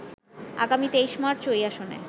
আগামী ২৩ মার্চ ওই আসনে